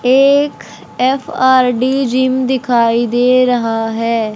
ये एक F R D gym दिखाई दे रहा है।